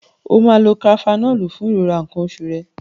O máa lo Kafenọ́ọ̀lù fún ìrora nǹkan oṣù rẹ.